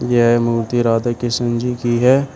यह मूर्ति राधा कृष्ण जी की है।